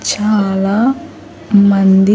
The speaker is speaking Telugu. చాలా మంది.